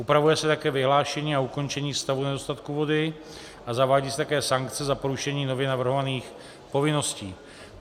Upravuje se také vyhlášení a ukončení stavu nedostatku vody a zavádí se také sankce za porušení nově navrhovaných povinností.